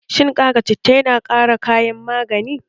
Shin ƙara citta yana ƙara kayan magani?